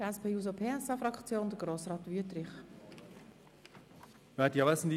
Für die SP-JUSO-PSA-Fraktion hat Grossrat Wüthrich das Wort.